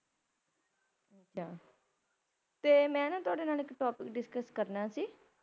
ਤੇ ਮੈ ਨਾ ਤੁਹਾਡੇ ਨਾਲ ਇੱਕ Topic Discuss ਕਰਨਾ ਸੀ